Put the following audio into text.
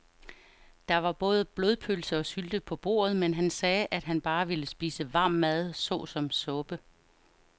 Der var både blodpølse og sylte på bordet, men han sagde, at han bare ville spise varm mad såsom suppe.